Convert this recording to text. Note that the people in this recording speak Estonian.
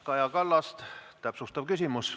Kaja Kallas, täpsustav küsimus.